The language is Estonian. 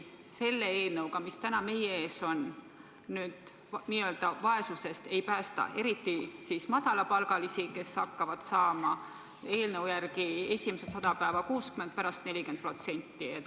Selle eelnõuga, mis täna meie ees on, inimesi vaesusest ei päästa, eriti madalapalgalisi, kes hakkavad saama eelnõu järgi esimesed 100 päeva 60%, pärast 40%.